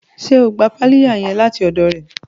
Ṣe o gbà piláyà yẹn láti ọdọ rẹ?